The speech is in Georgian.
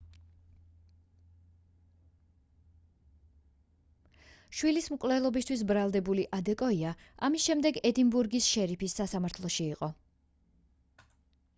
შვილის მკვლელობისთვის ბრალდებული ადეკოია ამის შემდეგ ედინბურგის შერიფის სასამართლოში იყო